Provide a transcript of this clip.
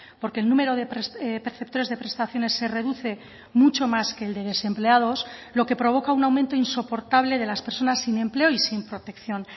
porque el número de perceptores de prestaciones se reduce mucho más que el de desempleados lo que provoca un aumento insoportable de las personas sin empleo y sin protección